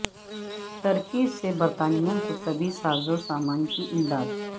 ترکی سے برطانیہ کو طبی سازو سامان کی امداد